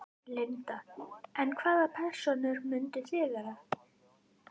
Linda: En hvaða persónur myndið þið vera?